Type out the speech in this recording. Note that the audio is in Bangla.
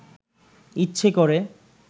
ইচ্ছে করে